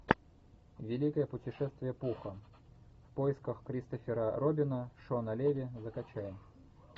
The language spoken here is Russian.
великое путешествие пуха в поисках кристофера робина шона леви закачай